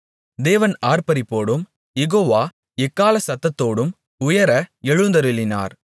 தேவன் ஆர்ப்பரிப்போடும் யெகோவா எக்காள சத்தத்தோடும் உயர எழுந்தருளினார்